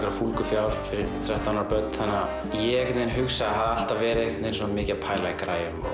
fúlgu fjár fyrir þrettán ára börn þannig að ég hugsaði hafði alltaf verið mikið að pæla í græjum